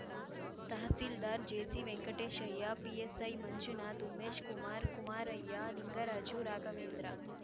tahsildar ಜೆಸಿವೆಂಕಟೇಶಯ್ಯ PSI Manjunath Umeshkumar Kumaraiah Lingaraju Raghavendra